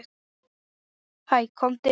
Hæ, komdu inn.